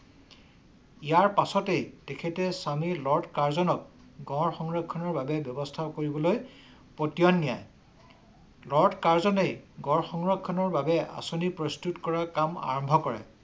ইয়াৰ পাছতেই তেখেতে স্বামী লৰ্ড কাৰ্জনক গঁড় সংৰক্ষণৰ বাবে ব্যৱস্থা কৰিবলৈ পতিয়ন নিয়ে। লড কাৰ্জনেই গড় সংৰক্ষণ বাবে আঁচনি প্ৰস্তুত কৰা কাম আৰম্ভ কৰে।